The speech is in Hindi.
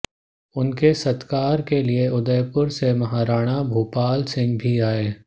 उनके सत्कार के लिए उदयपुर से महाराणा भूपालसिंह भी आए